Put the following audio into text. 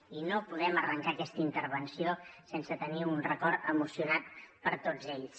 i no podem arrencar aquesta intervenció sense tenir un record emocionat per tots ells